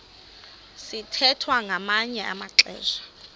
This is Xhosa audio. sithwethwa ngamanye amaxesha